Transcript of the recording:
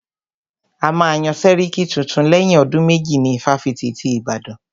A máa yán sẹ́ríkí tuntun lẹ́yìn ọdún méjì ní ifáfitì ti Ìbàdàn.